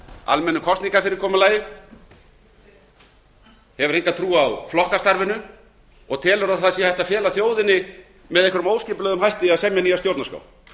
almennu kosningafyrirkomulagi hefur enga trú á flokkastarfinu og telur að það sé hægt að fela þjóðinni með einhverjum óskipulögðum hætti að semja nýja stjórnarskrá